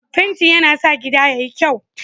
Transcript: Fenti yana sa gida yayi kyau.